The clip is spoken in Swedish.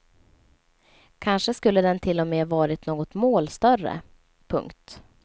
Kanske skulle den till och med varit något mål större. punkt